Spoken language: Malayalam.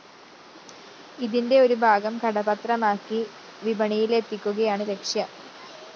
ഇതിന്റെ ഒരു ഭാഗം കടപ്പത്രമാക്കി വിപണിയിലെത്തിക്കുകയാണ് ലക്ഷ്യം